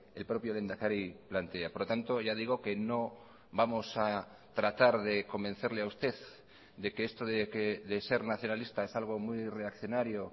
el propio lehendakari plantea por lo tanto ya digo que no vamos a tratar de convencerle a usted de que esto de ser nacionalista es algo muy reaccionario